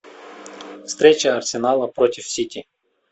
встреча арсенала против сити